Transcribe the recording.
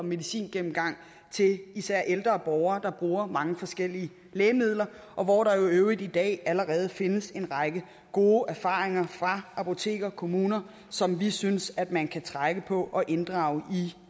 medicingennemgang til især ældre borgere der bruger mange forskellige lægemidler og hvor der jo i øvrigt i dag allerede findes en række gode erfaringer fra apotekere og kommuner som vi synes at man kan trække på og inddrage i